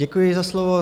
Děkuji za slovo.